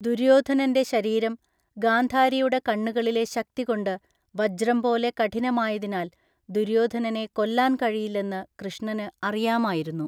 ദുര്യോധനൻ്റെ ശരീരം ഗാംധാരിയുടെ കണ്ണുകളിലെ ശക്തികൊണ്ട് വജ്രം പോലെ കഠിനമായതിനാൽ ദുര്യോധനനെ കൊല്ലാൻ കഴിയില്ലെന്ന് കൃഷ്ണന് അറിയാമായിരുന്നു.